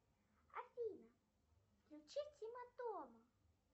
афина включи тима тома